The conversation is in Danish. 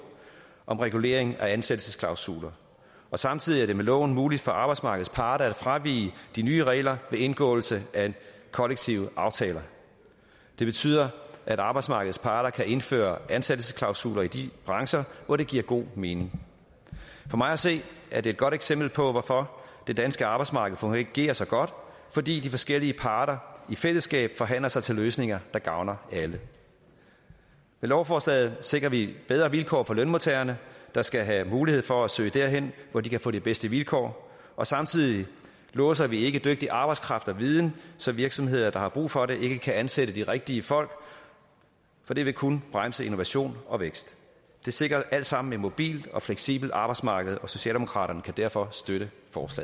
om regulering af ansættelsesklausuler samtidig er det med loven muligt for arbejdsmarkedets parter at fravige de nye regler ved indgåelse af kollektive aftaler det betyder at arbejdsmarkedets parter kan indføre ansættelsesklausuler i de brancher hvor det giver god mening for mig at se er det et godt eksempel på hvorfor det danske arbejdsmarked fungerer så godt det fordi de forskellige parter i fællesskab forhandler sig til løsninger der gavner alle med lovforslaget sikrer vi bedre vilkår for lønmodtagerne der skal have mulighed for at søge derhen hvor de kan få de bedste vilkår og samtidig låser vi ikke dygtig arbejdskraft og viden så virksomheder der har brug for det ikke kan ansætte de rigtige folk for det vil kun bremse innovation og vækst det sikrer alt sammen et mobilt og fleksibelt arbejdsmarked socialdemokraterne kan derfor støtte